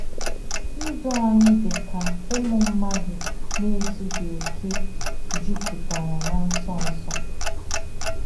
Ndú ányị̀ dì kà ǔmù mmádụ̀ nà-èzùghí òkè jùpùtèrà nà nsọ̀nsọ̀.